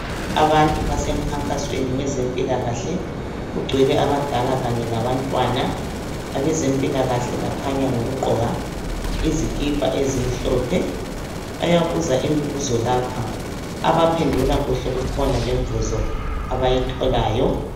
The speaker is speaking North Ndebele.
abantu basemkhankasweni wezempila kahle kucwele abadala kanye labantwana abezempilakahle bakhanya ngokugqoka izikipa ezimhlophe bayabuza imibuzo lapha abaphendula kuhle kukhona lemvuzo abayitholayo